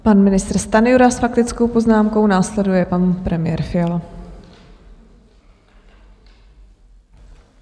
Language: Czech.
Pan ministr Stanjura s faktickou poznámkou, následuje pan premiér Fiala.